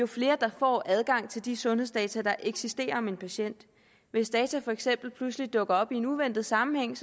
flere får adgang til de sundhedsdata der eksisterer om en patient hvis data for eksempel dukker op i en uventet sammenhæng